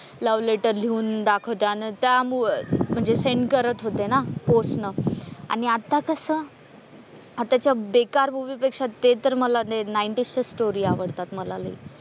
Love letter लिहून दाखवत आणि त्या सेंड करत होत्या ना पोस्ट न आणि आत्ता कस आत्ताच्या बेकार मूवी पेक्षा ते तर मला नाईंटीजच स्टोरी आवडतात मला लय.